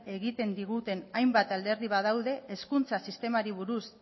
egiten diguten hainbat alderdi badaude hezkuntza sistemari buruz